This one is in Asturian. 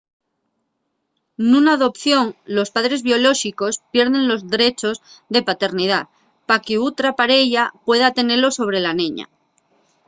nuna adopción los padres biolóxicos pierden los drechos de paternidá pa qu’otra pareya pueda tenelos sobre la neña